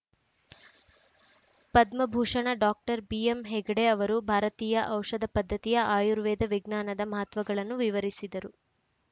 Padma Bhushan doctor ಬಿಎಂಹೆಗ್ಡೆ ಅವರು ಭಾರತೀಯ ಔಷಧ ಪದ್ಧತಿಯ ಆಯುರ್ವೇದ ವಿಜ್ಞಾನದ ಮಹತ್ವಗಳನ್ನು ವಿವರಿಸಿದರು